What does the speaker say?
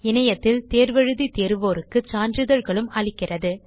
இணையத்தில் தேர்வு எழுதி தேர்வோருக்கு சான்றிதழ்களும் அளிக்கிறது